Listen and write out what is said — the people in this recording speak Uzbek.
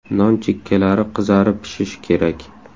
Non chekkalari qizarib pishishi kerak.